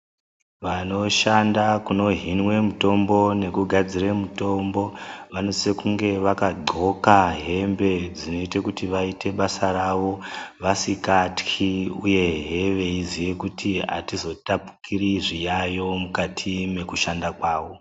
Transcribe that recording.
Vanoshanda kunohinwe mutombo nekugadzire mutombo, vanosise kunge vakaqoka hembe dzinoite kuti vaite basa ravo vasikatyi uyehe veiziye kuti hatizotapukiri zviyavo mukati mwekushanda kwawo.